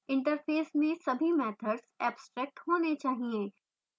interface में सभी methods abstract होने चाहिए